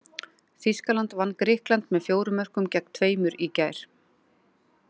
Þýskaland vann Grikkland með fjórum mörkum gegn tveimur í gær.